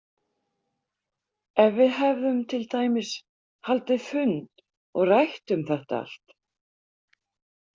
Ef við hefðum til dæmis haldið fund og rætt um þetta allt.